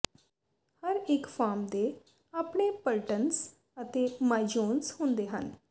ਹਰ ਇੱਕ ਫਾਰਮ ਦੇ ਆਪਣੇ ਪਲਟਨਸ ਅਤੇ ਮਾਈਜੋਨਸ ਹੁੰਦੇ ਹਨ